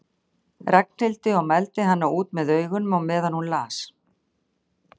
Ragnhildi og mældi hana út með augunum á meðan hún las